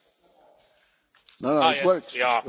Thank you, Ian, for taking my question.